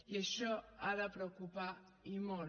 i això ha de preocupar i molt